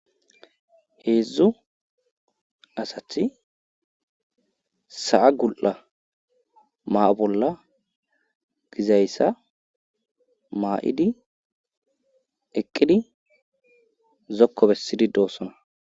Heedzdzu asati sa7a gul7a ma bolla gizayssa maa7idi eqqidi zokko bessidi doossona.